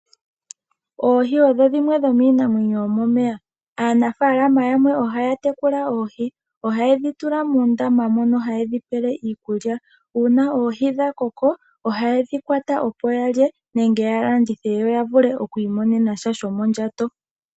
Oohi odho dhimwe dhomiinamwenyo yomomeya. Aanafalama yamwe oha ya tekula oohi. Oha ye dhi tula muundama mo haye dhi pele iikulya. Una oohi dha koko, oha ye dhi kwata opo ya lye nenge ya landithe yo ya vule okwiimonena sha shomondjato.